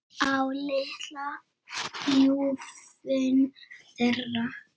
Á litla ljúfinn þeirra.